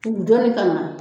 Dugu dɔɔni ka na.